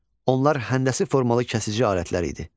Onlar həndəsi formalı kəsici alətlər idi.